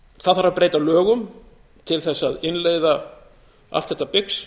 það þarf að breyta lögum til þess að innleiða allt þetta bix